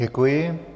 Děkuji.